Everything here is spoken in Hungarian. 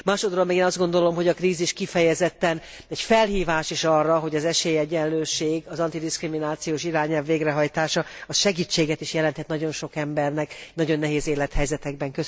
Másodsorban én azt gondolom, hogy a krízis kifejezetten egy felhívás is arra, hogy az esélyegyenlőség, az antidiszkriminációs irányelv végrehajtása az segítséget is jelenthet nagyon sok embernek, nagyon nehéz élethelyzetekben.